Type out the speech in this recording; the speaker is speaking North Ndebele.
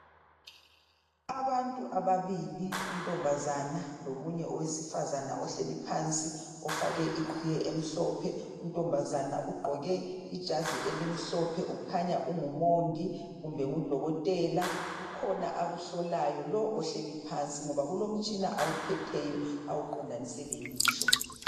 Abantu ababili untombazana lomunye owesifazana ohleli phansi ofake iqhiye emhlophe untombazana ugqoke ijazi elimhlophe Ukhanya ungumongi kumbe ngudokotela. Kukhona akuhlolayo lo ohleli phansi ngoba kulomtshina awuphetheyo awuqondanise lelihlo.